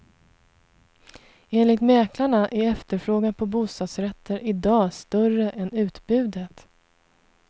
Enligt mäklarna är efterfrågan på bostadsrätter i dag större än utbudet.